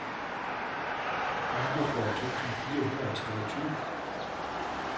niogfyrre tusind fire hundrede og treogtyve